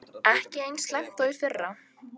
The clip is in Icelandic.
Ekki eins slæmt og í fyrra